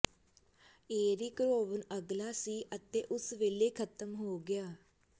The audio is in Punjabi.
ਏਰਿਕ ਰੋਵਨ ਅਗਲਾ ਸੀ ਅਤੇ ਉਸੇ ਵੇਲੇ ਖ਼ਤਮ ਹੋ ਗਿਆ